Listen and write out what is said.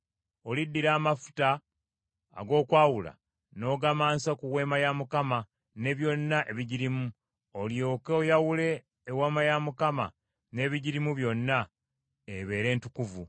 “Oliddira amafuta ag’okwawula n’ogamansa ku Weema ya Mukama ne byonna ebigirimu, olyoke oyawule Eweema ya Mukama n’ebigirimu byonna, ebeere ntukuvu.